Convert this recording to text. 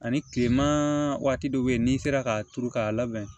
Ani kilema waati dɔ bɛ yen n'i sera k'a turu k'a labɛn